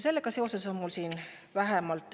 Sellega seoses on mul siin viis küsimust.